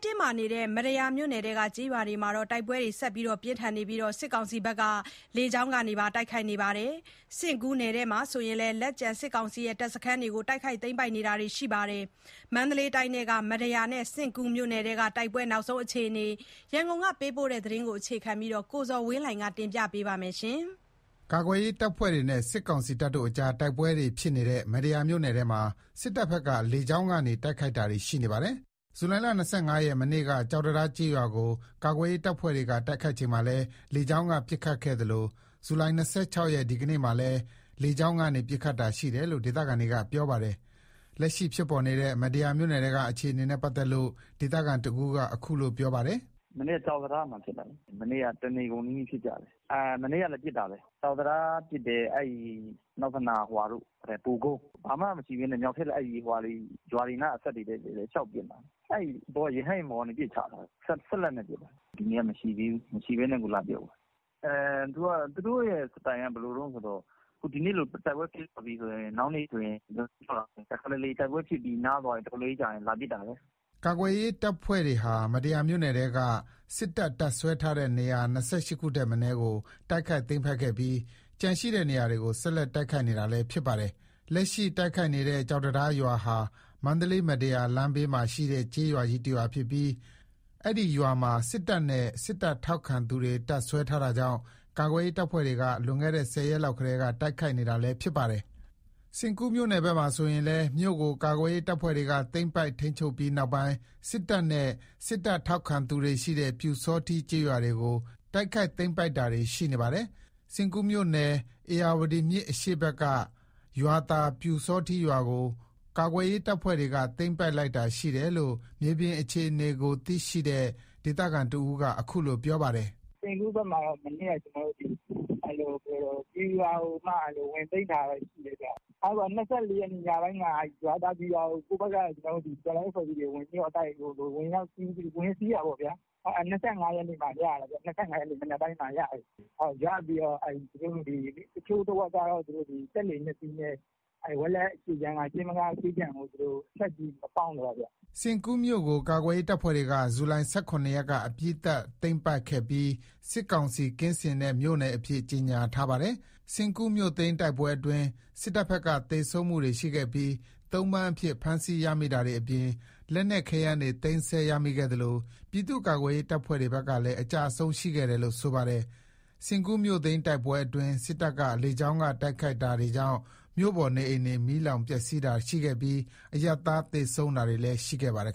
တင်းမာနေတဲ့ မတ္တရာမြို့နယ်ထဲက ကျေးရွာတွေမှာ တိုက်ပွဲတွေ ဆက်ရှိနေပြီး စစ်တပ်က လေကြောင်း တိုက်ခိုက်တာတွေ ရှိနေပါတယ်။ စဉ့်ကူးနယ်ထဲမှာဆိုရင်လည်း လက်ကျန်စစ်တပ်စခန်းတွေကို တိုက်ခိုက် သိမ်းပိုက်တာတွေ ရှိနေပါတယ်။ မန္တလေးတိုင်းထဲက မတ္တရာနဲ့ စဉ့်ကူးမြို့နယ်ထဲက တိုက်ပွဲ နောက်ဆုံးအခြေအနေ ရန်ကုန်ကပေးပို့တဲ့သတင်းကို အခြေခံပြီး ကိုဇော်ဝင်းလှိုင်က တင်ပြပေးပါမယ်။ ကာကွယ်ရေးတပ်ဖွဲတွေနဲ့ စစ်ကောင်စီတပ်တို့အကြား တိုက်ပွဲတွေဖြစ်နေတဲ့ မတ္တရာမြို့နယ်ထဲမှာ စစ်တပ်ဘက်က လေကြောင်းကနေ တိုက်ခိုက်တာတွေရှိနေပါတယ်။ ဇူလိုင် ၂၅ ရက် မနေ့က ကျောက်တံတား ကျေးရွာကို ကာကွယ်ရေး တပ်ဖွဲ့တွေက တိုက်ခိုက်ချိန်မှာလည်း လေကြောင်းက ပစ်ခတ်ခဲ့သလို ဇူလိုင် ၂၆ ရက် ဒီကနေ့မှာလည်း လေကြောင်းကနေ ပစ်ခတ်တာရှိတယ်လို့ ဒေသခံတွေက ပြောပါတယ်။ လက်ရှိဖြစ်ပေါ်နေတဲ့ မတ္တရာမြို့နယ်ထဲကအခြေအနေနဲ့ ပတ်သက်လို့ ဒေသခံတဦးက အခုလို ပြောပါတယ်။ "မနေ့က ကျောက်တံတားမှာဖြစ်ကြတာ။ မနေ့က တနေကုန်နီးနီး ဖြစ်ကြတယ်။ မနေ့ကလည်း ပစ်တာပဲ။ ကျောက်တံတားပစ်တယ်။ အနောက်ဖက်နားက ဘိုကုန်း ပစ်တယ်။ ဘာမှာမရှိဘဲ ရွာတွေနား အစပ်တွေထဲ လျှောက်ပစ်နေတာ။ ရဟတ်ယာဉ်ပေါ်ကနေ ပစ်တာ၊ စက်လတ်နဲ့ပစ်သွားတာ။ ဒီနေ့ကတော့ မရှိသေးဘူး။ မရှိသေးဘဲနဲ့ကို လာပစ်သွားတာ။ သူတို့ရဲ့စတိုင်က ဘယ်လိုတုန်းဆို ဒီနေ့လို တိုက်ပွဲဖြစ်သွားရင် နောက်နေ့ဆိုလာပစ်တယ်။ တခါတလေ တိုက်ပွဲဖြစ်ပြီး နားသွားရင် အတော်လေးကြာရင် လာပစ်တာပဲ။" ကာကွယ်ရေးတပ်ဖွဲ့တွေဟာ မတ္တရာမြို့နယ်ထဲက စစ်တပ် တပ်စွဲထားတဲ့ နေရာ ၂၈ ခုထက်မနည်းကို တိုက်ခိုက်သိမ်းပိုက်ခဲ့ပြီး ကျန်ရှိတဲ့ နေရာတွေကို ဆက်လက် တိုက်ခိုက်နေတာလည်း ဖြစ်ပါတယ်။ လက်ရှိ တိုက်ခိုက်နေတဲ့ ကျောက်တံတားရွာဟာ မန္တလေး-မတ္တရာ လမ်းဘေးမှာရှိတဲ့ ကျေးရွာကြီးတရွာဖြစ်ပြီး အဲ့ဒီရွာမှာ စစ်တပ်နဲ့ စစ်တပ်ထောက်ခံသူတွေ တပ်စွဲထားတာကြောင့် ကာကွယ်ရေးတပ်ဖွဲ့တွေက လွန်ခဲ့တဲ့ ၁၀ ရက်လောက်ကတည်းက တိုက်ခိုက်နေတာလည်း ဖြစ်ပါတယ်။ စဉ့်ကူးမြို့နယ်ဘက်မှာဆိုရင်လည်း မြို့ကို ကာကွယ်ရေးတပ်ဖွဲ့တွေက သိမ်းပိုက် ထိန်းချုပ်ပြီးနောက်ပိုင်း စစ်တပ်နဲ့ စစ်တပ်ထောက်ခံသူတွေရှိတဲ့ ပျူစောထီးကျေးရွာတွေကို တိုက်ခိုက် သိမ်းပိုက်တာတွေရှိနေပါတယ်။ စဉ့်ကူးမြို့နယ် ဧရာဝတီမြစ်အရှေ့ဘက်က ရွာသာ ပျူစောထီးရွာကို ကာကွယ်ရေးတပ်ဖွဲ့တွေက သိမ်းပိုက်လိုက်တာရှိတယ်လို့ မြေပြင်အခြေအနေသိရှိတဲ့ ဒေသခံတဦးက အခုလို ပြောပါတယ်။ "စဉ့်ကူးဘက်မှာတော့ ပျူရွာကို ဝင်သိမ်းထားတာတော့ ရှိတယ်ခင်ဗျ။ ၂၄ ရက်နေ့ ညပိုင်းက ရွာသာပျူရွာကို ကိုယ့်ဘက်က တော်လှန်ရေး အဖွဲ့အစည်းတွေက ဝင်တိုက်ပြီး ဝင်စီးတာပေါ့။ ၂၅ ရက်နေ့မှာရတယ်။ မနက်ပိုင်းမှာရတယ်။ ရပြီးတော့ တချို့တဝက်ကတော့ ဝက်လက်အရှေ့ခြမ်းက ရှိမ်းမကားဘက်ကို စက်လှေ ၂ စီးနဲ့ ပေါင်းသွားတယ်ခင်ဗျ။" စဉ့်ကူးမြို့ကို ကာကွယ်ရေးတပ်ဖွဲ့တွေက ဇူလိုင် ၁၇ ရက်က အပြီး သတ်သိမ်းပိုက်ခဲ့ပြီး စစ်ကောင်စီကင်းစင်တဲ့ မြို့နယ်အဖြစ် ကြေငြာထားပါတယ်။ စဉ့်ကူးမြို့သိမ်းတိုက်ပွဲအတွင်း စစ်တပ်ဘက်က သေဆုံးမှုတွေရှိခဲ့ပြီး သုံ့ပန်အဖြစ် ဖမ်းဆီးရမိတာတွေအပြင် လက်နက် ခဲယမ်းတွေ သိမ်းဆည်းရမိခဲ့သလို ပြည်သူ့ကာကွယ်ရေးတပ်ဖွဲ့တွေဘက်ကလည်း အကျအဆုံး ရှိခဲ့တယ်လို့ ဆိုပါတယ်။ စဉ့်ကူး မြို့သိမ်းတိုက်ပွဲအတွင်း စစ်တပ်က လေကြောင်းတိုက်ခိုက်တာတွေကြောင့် မြို့ပေါ် နေအိမ်တွေ မီးလောင်ပျက်စီးတာတွေရှိခဲ့ပြီး အရပ်သား သေဆုံးတာတွေလည်း ရှိခဲ့ပါတယ်